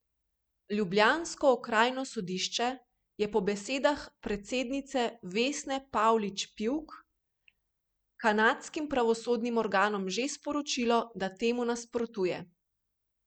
Ljubljansko okrajno sodišče je po besedah predsednice Vesne Pavlič Pivk kanadskim pravosodnim organom že sporočilo, da temu nasprotuje.